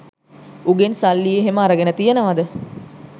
උගෙන් සල්ලි එහෙම අරගෙන තියෙනවද?